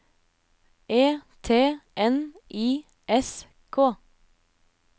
E T N I S K